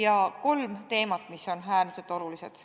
On kolm teemat, mis on äärmiselt olulised.